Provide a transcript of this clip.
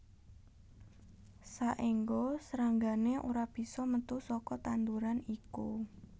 Saéngga sranggané ora bisa metu saka tanduran iku